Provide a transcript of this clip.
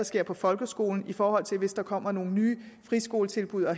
ser på folkeskolen i forhold til hvis der kommer nogle nye friskoletilbud og